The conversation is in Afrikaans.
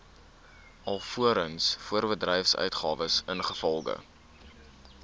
alvorens voorbedryfsuitgawes ingevolge